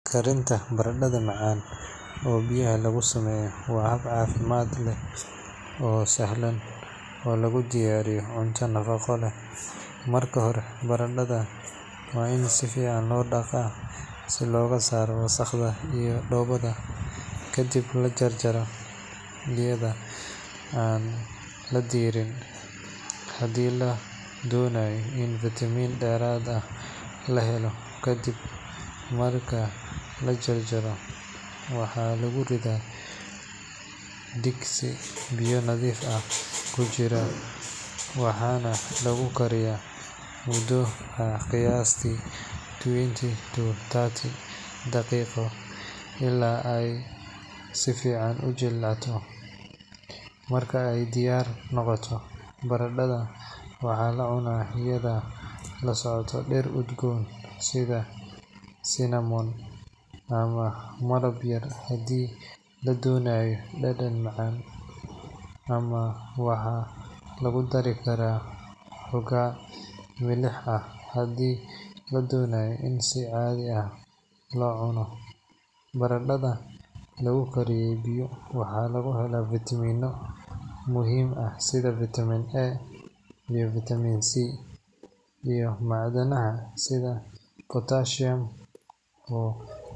Karinta baradadha macan oo biyaha lagu sameya waa hab cafimaad leh oo sahlan oo lagu diyariyo cunto nafaqo leh, marka hore baradadha waa in sifican lo nadhiifiya si loga saro wasaqda iyo dowada kadiib lajar jaro iyada oo an donaya in vitamin deraad ah lahelo kadiib marki lajajaro waxa lagu ridha digsi biyo kujiran, waxaa lagu dari karaa in si cadhi ah lo cuno baradadha lagu kariyo sitha fitami oo.